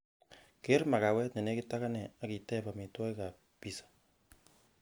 keer magawet nenegit ak anee ak iteb amitwogik ab piza